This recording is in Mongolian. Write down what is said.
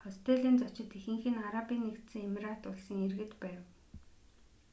хостелийн зочид ихэнх нь арабын нэгдсэн эмират улсын иргэд байв